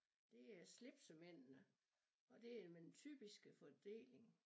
Det er slipsemændene og det er med den typiske fordeling